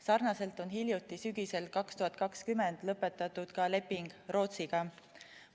Sarnaselt on hiljuti, sügisel 2020 lõpetatud ka leping Rootsiga.